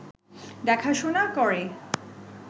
দেখাশোনা করে